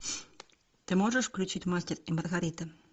ты можешь включить мастер и маргарита